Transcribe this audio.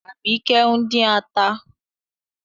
Àbíkẹ́ ń dín ata.